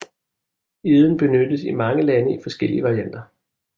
Eden benyttes i mange lande i forskellige varianter